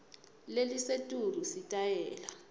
lelisetulu sitayela